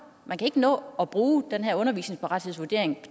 man kan ikke nå at bruge den her uddannelsesparathedsvurdering